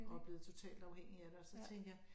Og er blevet totalt afhængig af det og så tænker jeg